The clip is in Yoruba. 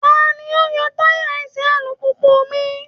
Ta ni ó ń yọ tayà ẹsẹ̀ alùpùpù mi?